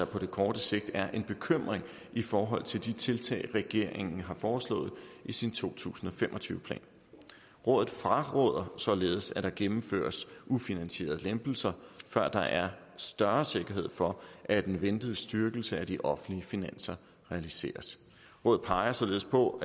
kort sigt er en bekymring i forhold til de tiltag regeringen har foreslået i sin to tusind og fem og tyve plan rådet fraråder således at der gennemføres ufinansierede lempelser før der er større sikkerhed for at den ventede styrkelse af de offentlige finanser realiseres rådet peger således på